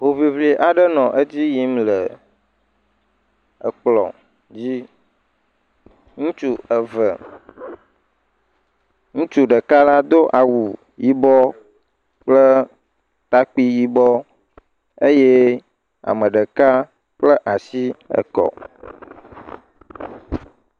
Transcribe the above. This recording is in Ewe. Hoŋiŋli aɖe le dzi yim le ekplɔ̃, dzi. Ŋutsu eve. Ŋutsu ɖekala do awu yibɔ kple takpui yibɔ eye ame ɖeka kpla asi ekɔ.